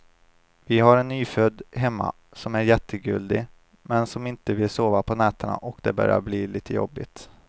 Vi har en nyfödd hemma som är jättegullig, men som inte vill sova på nätterna och det börjar bli lite jobbigt.